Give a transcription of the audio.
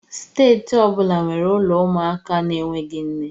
Steeti ọ bụla nwere ụlọ ụmụaka na-enweghị nne